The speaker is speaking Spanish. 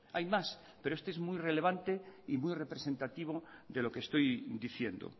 hay más pero este es muy relevante y muy representativo de lo que estoy diciendo